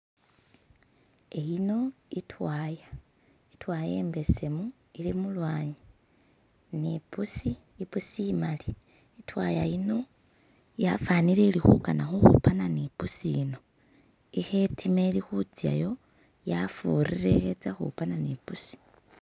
eyino itwaya, itwaya imbesemu ili mulwanyi ni ipusi, ipusi imali, itwaya yafanile ili hukana huhupana ni pusi ino iho itima itsayo yafurire ihe itsahupana nipusi